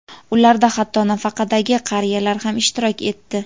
Ularda hatto nafaqadagi qariyalar ham ishtirok etdi.